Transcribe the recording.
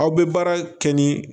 Aw bɛ baara kɛ ni